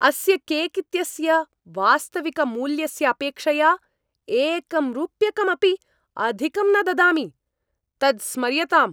अस्य केक् इत्यस्य वास्तविकमूल्यस्य अपेक्षया एकं रूप्यकमपि अधिकं न ददामि। तत् स्मर्यताम्!